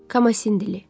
Komasin dili.